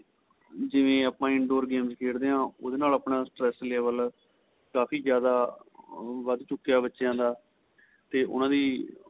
ਜਿਵੇਂ ਆਪਾ in door games ਖੇਡਦੇ ਆਂ ਉਹਦੇ ਨਾਲ ਆਪਣਾ stress level ਕਾਫ਼ੀ ਜਿਆਦਾ ਵੱਧ ਚੁੱਕਿਆ ਬੱਚਿਆ ਦਾ ਤੇ ਉਹਨਾ ਦੀ